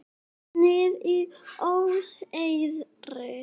Hún hefði hengt sig.